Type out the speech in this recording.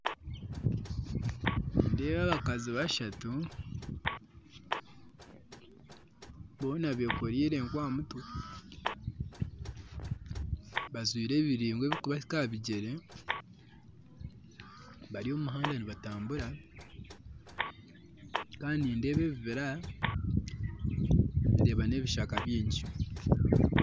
Nindeeba abakazi bashatu boona bekoriire enku aha mutwe bajwaire ebiringwa ebikubahika aha bigyere bari omu muhanda nibatambura kandi nindeeba ebibira ndeeba n'ebishaka bingyi